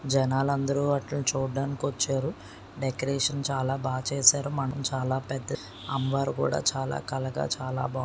జనాలందరూ వాటిని చూడ్డానికి వచ్చారు. డెకరేషన్ చాలా బాగా చేసారు. మండపం చాలా పెద్దది. అమ్మవారు కూడా చాలా కలగా చాలా బాగున్నారు.